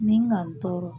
Ni n ka n tɔɔrɔ